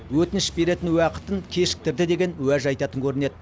өтініш беретін уақытын кешіктірді деген уәж айтатын көрінеді